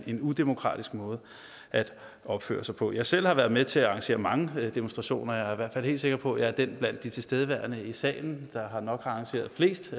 en udemokratisk måde at opføre sig på jeg selv har været med til at arrangere mange demonstrationer er i hvert fald helt sikker på at jeg er den blandt de tilstedeværende i salen der har arrangeret flest